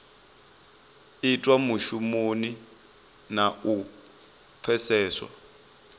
itwa mushumoni na u pfeseswa